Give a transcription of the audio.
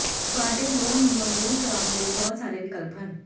ਤੁਹਾਡੇ ਲੋਨ ਨੂੰ ਮਨਜ਼ੂਰ ਕਰਾਉਣ ਲਈ ਬਹੁਤ ਸਾਰੇ ਵਿਕਲਪ ਹਨ